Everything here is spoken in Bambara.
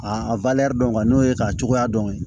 A dɔn ku n'o ye k'a cogoya dɔn